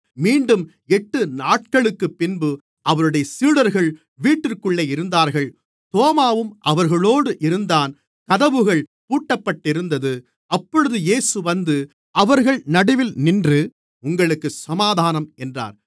மீண்டும் எட்டு நாட்களுக்குப்பின்பு அவருடைய சீடர்கள் வீட்டிற்குள்ளே இருந்தார்கள் தோமாவும் அவர்களோடு இருந்தான் கதவுகள் பூட்டப்பட்டிருந்தது அப்பொழுது இயேசு வந்து அவர்கள் நடுவில் நின்று உங்களுக்குச் சமாதானம் என்றார்